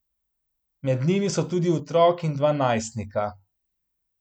Med njimi so tudi otrok in dva najstnika.